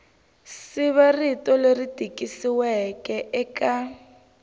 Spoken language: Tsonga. siva rito leri tikisiweke eka